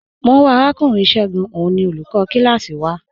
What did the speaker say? Mọ n wá Arakùnrin Ṣẹ̀gún, ọ̀un ni olúkò kílásí wà.